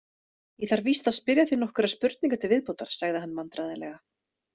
Ég þarf víst að spyrja þig nokkurra spurninga til viðbótar, sagði hann vandræðalega.